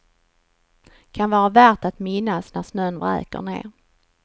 Kan vara värt att minnas när snön vräker ned.